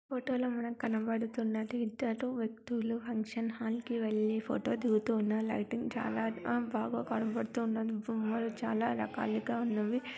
Photo లొ కనబడుతన్నది ఇద్దరు వ్యక్తులు ఫంక్షన్ హాల్ వెళ్లి కి ఫోటో దిగుతున్న లైటింగ్ చాలా బాగా కనపడుతూ ఉన్నదిబొమ్మలు చాల రకాలుగా ఉన్నవి.